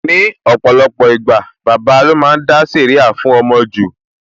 Ní ọ̀pọ̀lọpọ̀ ìgbà, bàbà lo máa ń dá sẹ̀ríà fún ọmọ jù